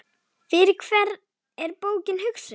Fyrir hvern er bókin hugsuð?